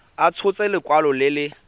a tshotse lekwalo le le